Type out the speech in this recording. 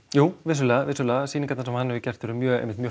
jú vissulega vissulega sýningarnar sem hann hefur gert eru einmitt mjög